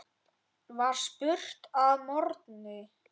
var spurt að morgni.